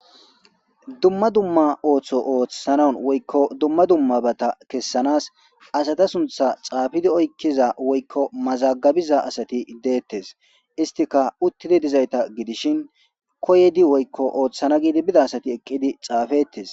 Dumma Dumma Ooththo Ooththanaw Woyko Dumma Dummabata Kesanas Asata Sunththa Xaafidi Oykiza Woykko Mazagabiza Asati Detes Istika Utidi Dizaysata Gidishin Koydi Woykko Othana Gidi Bida Asati Eqidi Xaafetes